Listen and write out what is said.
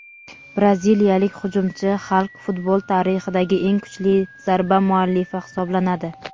Braziliyalik hujumchi Xalk futbol tarixidagi eng kuchli zarba muallifi hisoblanadi.